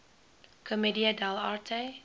commedia dell arte